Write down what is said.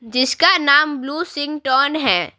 जिसका नाम ब्लू सिंग टोन है।